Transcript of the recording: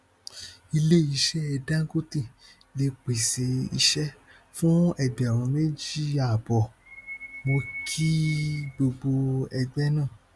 ilé iṣẹ dangote lè pèsè iṣẹ fún ẹgbẹrún méjì àbọ mo kí gbogbo ẹgbẹ náà